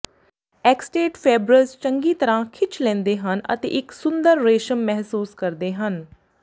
ਐਕਸਟੇਟ fabrics ਚੰਗੀ ਤਰ੍ਹਾਂ ਖਿੱਚ ਲੈਂਦੇ ਹਨ ਅਤੇ ਇੱਕ ਸੁੰਦਰ ਰੇਸ਼ਮ ਮਹਿਸੂਸ ਕਰਦੇ ਹਨ